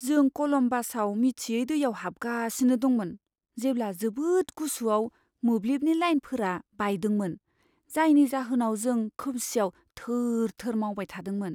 जों कलम्बासआव मिथियै दैयाव हाबगासिनो दंमोन जेब्ला जोबोद गुसुआव मोब्लिबनि लाइनफोरा बायदोंमोन, जायनि जाहोनाव जों खोमसिआव थोर थोर मावबाय थादोंमोन।